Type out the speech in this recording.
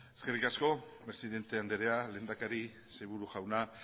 eskerrik asko presidente anderea lehendakari sailburu jauna